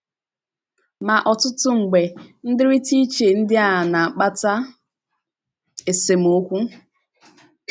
Ma ọtụtụ mgbe, ndịrịta iche ndị a na - akpata esemokwu.